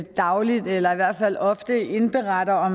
dagligt eller i hvert fald ofte indberetter